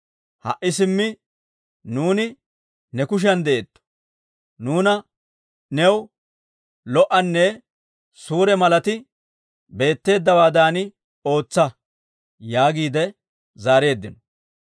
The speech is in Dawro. Ha"i simmi nuuni ne kushiyan de'eetto. Nuuna new lo"anne suure malati beetteeddawaadan ootsa» yaagiide zaareeddino.